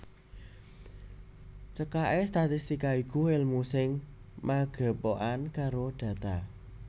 Cekaké statistika iku èlmu sing magepokan karo data